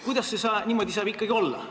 Kuidas niimoodi saab ikkagi olla?